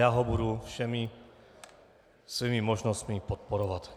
Já ho budu všemi svými možnostmi podporovat.